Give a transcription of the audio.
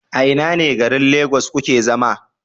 A ina ne garin lagos kuke zama?